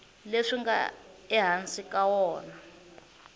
leswi nga ehansi ka wona